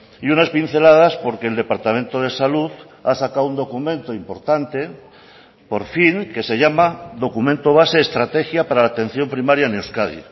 y unas pinceladas porque el departamento de salud ha sacado un documento importante por fin que se llama documento base estrategia para la atención primaria en euskadi